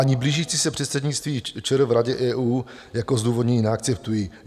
Ani blížící se předsednictví ČR v Radě EU jako zdůvodnění neakceptuji.